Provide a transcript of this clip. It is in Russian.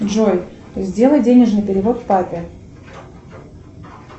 джой сделай денежный перевод папе